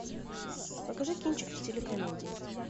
покажи кинчик в стиле комедии